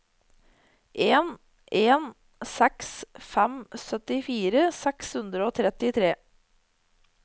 en en seks fem syttifire seks hundre og trettitre